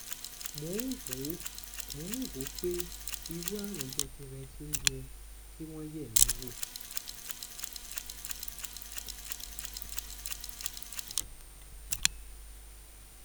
mò ń wò mò ń wò ó pé irú àrùn jẹjẹrẹ tí ó yẹ kí wọn yẹ mí wò